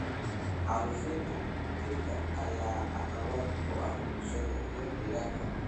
Xaalufinta dhirta ayaa caqabad ku ah bulshada iyo deegaanka.